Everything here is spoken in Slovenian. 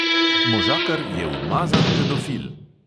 Možakar je umazan pedofil!